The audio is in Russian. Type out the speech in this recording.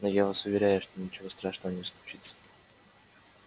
но я вас уверяю что ничего страшного не случится